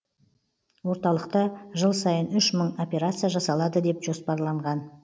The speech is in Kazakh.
орталықта жыл сайын үш мың операция жасалады деп жоспарланған